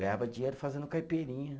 Ganhava dinheiro fazendo caipirinha.